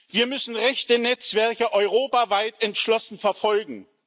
Wir müssen rechte Netzwerke europaweit entschlossen verfolgen.